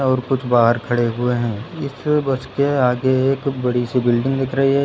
और कुछ बाहर खड़े हुए हैं इस बस के आगे एक बड़ी सी बिल्डिंग दिख रही है।